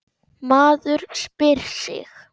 Maður spyr sig.